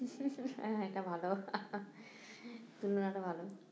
হ্যাঁ এটা ভালো তুলনাটা ভালো